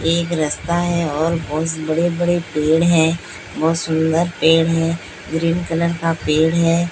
एक रास्ता है और बहोत बड़े बड़े पेड़ है बहोत सुंदर पेड़ है ग्रीन कलर का पेड़ है।